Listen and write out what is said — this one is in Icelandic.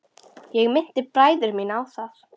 Ég minnti bræður mína á það.